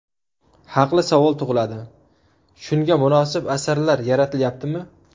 Haqli savol tug‘iladi, shunga munosib asarlar yaratilyaptimi?